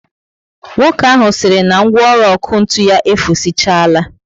Nwoke ahụ siri na ngwaọrụ ọkụ ntụ ya efusichaala